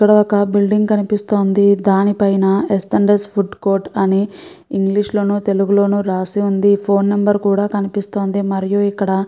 ఇక్కడ ఒక బిల్డింగ్ కనిపిస్తోంది దాని పైన S and S food court అని ఇంగ్లీష్ లోనూ తెలుగులోను రాసి వుంది ఫోను నెంబర్ కూడా కనిపిస్తోంది మరియు ఇక్కడ --